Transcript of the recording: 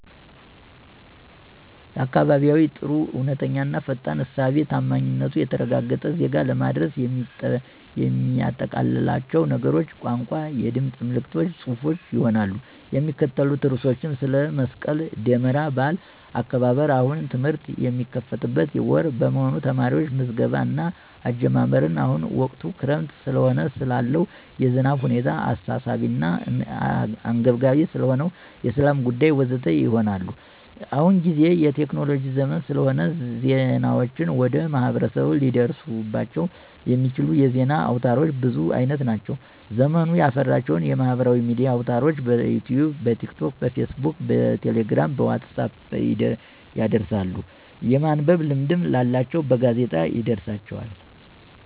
ለአካባቢየዬ ጥሩ፣ እውነተኛ፣ ፈጣን፣ ሳቢ፣ ታማኝነቱ የተረጋገጠ፣ ዜና ለማድረስ የሚያጠቃልላቸው ነገሮች፣ ቋንቋ፣ የድምፅ መልዕክቶች፣ ጽሑፎች፣ ይሆናሉ። የሚካተቱ ርዕሶችም፣ ስለ መስቀል ደመራ በዓል አከባበር፣ አሁን ትምህርት የሚከፈትበት ወር በመሆኑ የተማሪዎች ምዝገባ እና አጀማመር፣ አሁን ወቅቱ ክረምት ስለሆነ ስላለው የዝናብ ሁኔታ፣ አሳሳቢ እና አንገብጋቢ ስለሆነው የሠላም ጉዳይ፣...ወ.ዘ.ተ. ይሆናሉ። አሁንጊዜው የቴክኖሎጅ ዘመን ስለሆነ ዜናዎችን ወደ ማህበረሰቡ ሊደርሱባቸው የሚችሉ የዜና አውታሮች ብዙ አይነት ናቸው። ዘመኑ ያፈራቸው የማህበራዊ ሚዲያ አውታርሮች፦ በዩትዩብ፣ በቲክቶክ፣ በፌስ ቡክ፣ በቴሌግራም፣ በዋትሳፕ ይደርሳሉ፤ የማንበብ ልምድ ላላቸውም በጋዜጣ ይደርሳቸዋል።